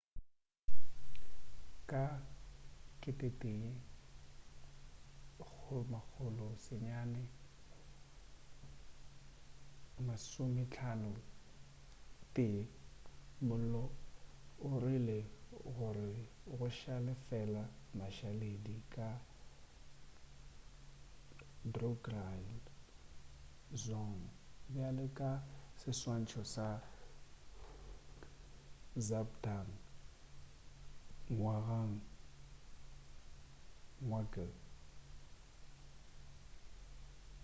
ka 1951 mollo o dirile gore go šale fela mašaledi a drukgyal dzong bjale ka seswantšho sa zhabdrung ngawang namgyal